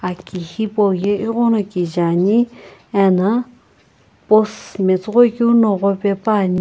aki hipou yae egho na kijae ane ana post matsoghoi keu na ghor pae pane.